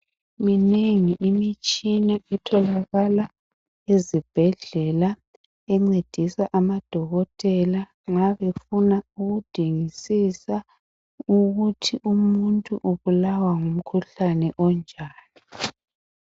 Minengi imitshina etholakala ezibhedlela encedisa amadokotela nxa befuna ukudingisisa ukuthi umuntu ubulawa ngumkhuhlani onjani